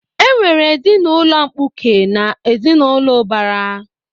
E nwere ezinaụlọ mkpuke na ezinaụlọ ubara